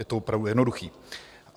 Je to opravdu jednoduché.